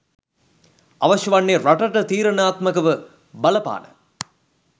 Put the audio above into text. අවශ්‍ය වන්නේ රටට තීරණාත්මකව බලපාන